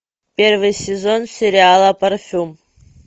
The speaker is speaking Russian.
первый сезон сериала парфюм